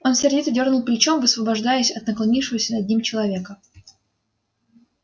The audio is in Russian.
он сердито дёрнул плечом высвобождаясь от наклонившегося над ним человека